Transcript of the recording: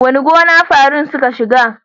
Wace gona farin suka shiga?